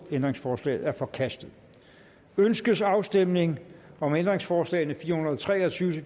ændringsforslaget er forkastet ønskes afstemning om ændringsforslag nummer fire hundrede og tre og tyve til